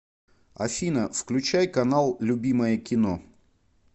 афина включай канал любимое кино